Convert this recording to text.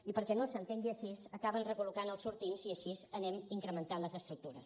i perquè no s’entengui així acaben recol·locant els sortints i així anem incrementant les estructures